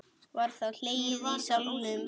Var þá hlegið í salnum.